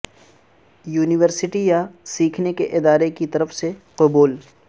university یا سیکھنے کے ادارے کی طرف سے قبول